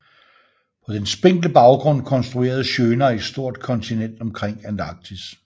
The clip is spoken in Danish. På den spinkle baggrund konstruerede Schöner et stort kontinent omkring Antarktis